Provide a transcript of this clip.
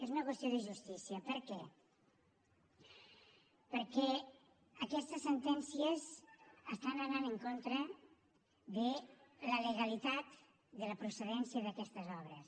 és un qüestió de justícia per què perquè aquestes sentències van en contra de la legalitat de la procedència d’aquestes obres